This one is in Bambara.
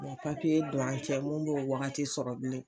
O ma papiye don an cɛ mun bɛ o wagati sɔrɔ bilen